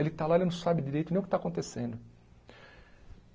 Ele está lá, ele não sabe direito nem o que está acontecendo.